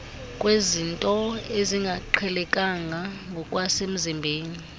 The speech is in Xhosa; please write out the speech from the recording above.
kwezinto ezingaqhelekanga ngokwasemzimbeni